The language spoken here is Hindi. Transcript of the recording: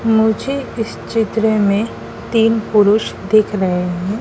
मुझे इस चित्र में तीन पुरुष दिख रहे हैं।